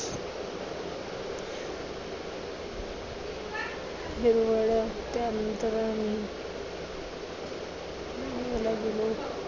हिरवळ त्यानंतर आम्ही गेलो.